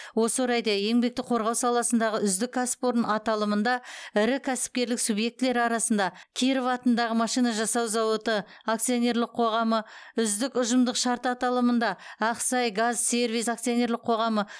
осы орайда еңбекті қорғау саласындағы үздік кәсіпорын аталымында ірі кәсіпкерлік субъектілері арасында киров атындағы машина жасау зауыты акционерлік қоғамны үздік ұжымдық шарт аталымында ақсайгазсервис акционерлік қоғамны